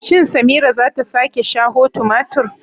Shin Samira zata sake shaho tumatur?